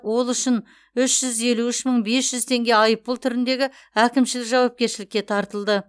ол үшін үш жүз елу үш мың бес жүз теңге айыппұл түрінде әкімшілік жауапкершілікке тартылды